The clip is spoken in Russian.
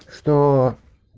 что